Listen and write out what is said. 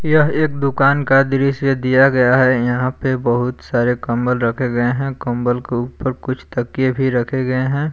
यह एक दुकान का दृश्य दिया गया है यहां पे बहुत सारे कंबल रखे गए हैं कंबल के ऊपर कुछ तकिए भी रखे गए हैं।